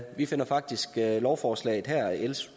vi finder faktisk lovforslaget her l en